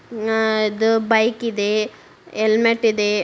ಅಹ್ ಇದು ಬೈಕ್ ಇದೆ. ಹೆಲ್ಮೆಟ್ ಇದೆ.